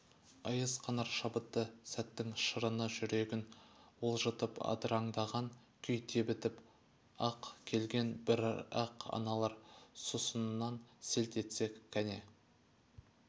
айыз қанар шабытты сәттің шырыны жүрегін уылжытып адыраңдаған күй тебітіп-ақ келген бірақ аналар сұсынан селт етсе кәне